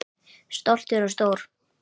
Stoltur og stór.